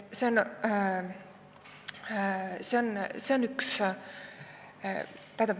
See on üks näide.